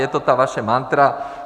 Je to ta vaše mantra.